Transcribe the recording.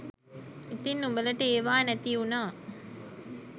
ඉතින් උඹලට ඒවා නැති උනා